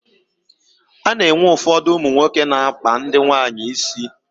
A na-enwe ụfọdụ ụmụ nwoke na-akpa ndị nwaanyị isi.